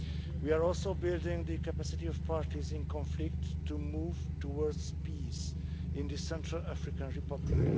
We are also building the capacity of parties in conflict to move towards peace in the Central African Republic.